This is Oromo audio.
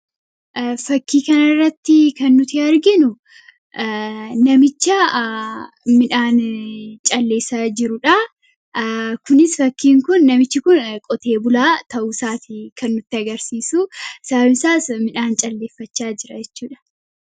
Asirratti kan nuti arginu namicha midhaan calleessaa jirudha. Kunis fakkiin kun namichi qotee bulaa ta'uu isaati kan nutti agarsiisu; sababiin isaas midhaan calleeffachaa jira jechuudha.